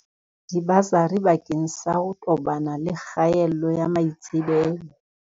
Dibasari bakeng sa ho tobana le kgaello ya maitsebelo.